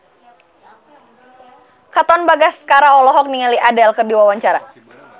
Katon Bagaskara olohok ningali Adele keur diwawancara